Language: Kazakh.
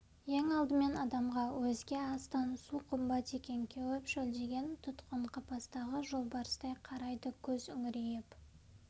ең алдымен адамға өзге астан су қымбат екен кеуіп шөлдеген тұтқын қапастағы жолбарыстай қарайды көз үңірейіп